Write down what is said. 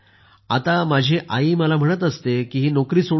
आता माझी आई मला म्हणत असते की ही नोकरी सोडून दे